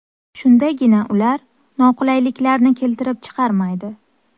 Shundagina ular noqulayliklarni keltirib chiqarmaydi.